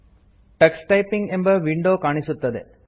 Tux typing ಎಂಬ window ಕಾಣಿಸುತ್ತದೆ